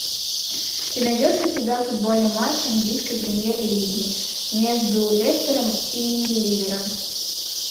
ты найдешь у себя футбольный матч английской премьер лиги между лестером и ливером